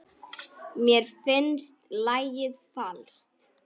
Mér finnst lagið falskt.